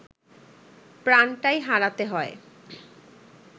প্রাণটাই হারাতে হয়